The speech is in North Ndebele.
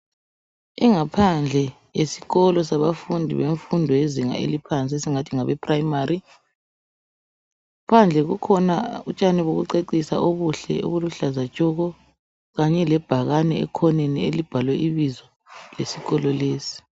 Ingaphandle yesikolo sabafundi bemfundo yezinga eliphansi esingathi ngabephurayimari phandle kukhona utshani bokucecisa obuhle obuluhlaza tshoko kanye lebhakane ekhoneni elibhalwe ibizo lesikolo lesi